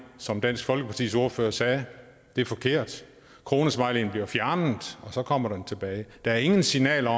som dansk folkepartis ordfører sagde det er forkert kronesmileyen bliver fjernet og så kommer den tilbage der er ingen signaler